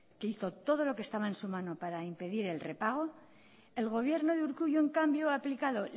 que hizo todo lo que estaba en su mano para impedir el repago el gobierno de urkullu en cambio ha aplicado